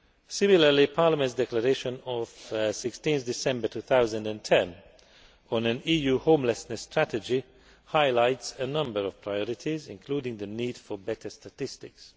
Similarly, Parliament's declaration of 16 December 2010 on an EU homelessness strategy highlights a number of priorities, including the need for better statistics.